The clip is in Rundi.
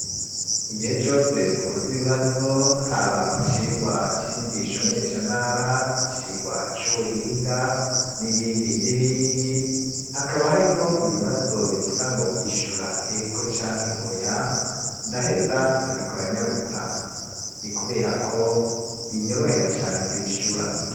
Igihe cose dukoz' ibibazo haba mu cigwa c'inyigisho menyeshantara, icigwa c'uhinga n'ibindi n'ibindi ,hakaba harimwo ibibazo bivuga ngo ishura ego ca nke oya ndaheza nkabikora nyarutsa, ni kubera ko binyorohera cane kwishura